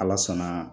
Ala sɔnna